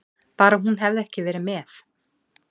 Bara hún hefði ekki verið með.